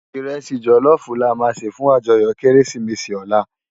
Irèsi jòlòfú làmá sé fún àjòyò Kérésimési òlá